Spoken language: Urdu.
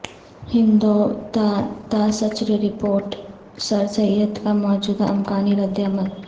ہندوتوا تا سچر رپورٹ سرسید کا موجودہ امکانی ردعمل